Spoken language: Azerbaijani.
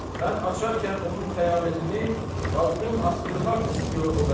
Mən açarkən onun xəyanətini, baqdım asdırmaq istiyor o məni.